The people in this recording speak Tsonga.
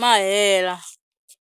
ma hela.